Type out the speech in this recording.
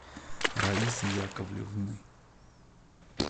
раисы яковлевны